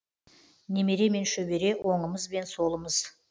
немере мен шөбере оңымыз бен солымыз